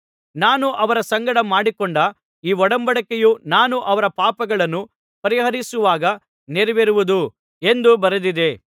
ನಾನು ಅವರ ಸಂಗಡ ಮಾಡಿಕೊಂಡ ಈ ಒಡಂಬಡಿಕೆಯು ನಾನು ಅವರ ಪಾಪಗಳನ್ನು ಪರಿಹರಿಸುವಾಗ ನೆರವೇರುವುದು ಎಂದು ಬರೆದಿದೆ